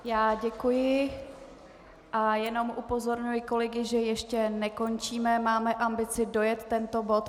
Já děkuji, a jenom upozorňuji kolegy, že ještě nekončíme, máme ambici dojet tento bod.